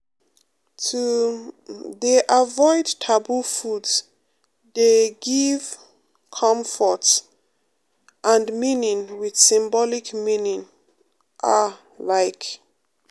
to um dey avoid taboo foods dey um give comfort um and meaning with symbolic meaning ah like.